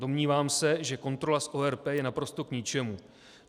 Domnívám se, že kontrola z ORP je naprosto k ničemu.